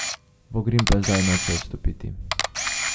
Vogrin pa zdaj noče odstopiti.